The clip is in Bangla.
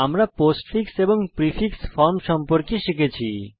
আমরা পোস্টফিক্স এবং প্রিফিক্স ফর্ম সম্পর্কে শিখেছি